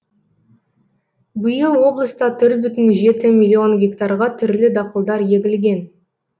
биыл облыста төрт бүтін жеті миллион гектарға түрлі дақылдар егілген